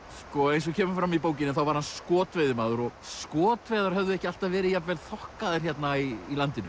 eins og kemur fram í bókinni var hann skotveiðimaður og skotveiðar höfðu ekki alltaf verið jafn vel þokkaðar hérna í landinu